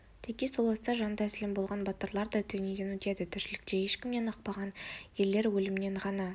теке сол аста жан тәсілім болған батырлар да дүниеден өтеді тіршілікте ешкімнен ықпаған ерлер өлімнен ғана